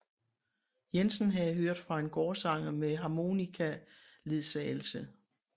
Jensen havde hørt fra en gårdsanger med harmonikaledsagelse